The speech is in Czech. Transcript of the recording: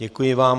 Děkuji vám.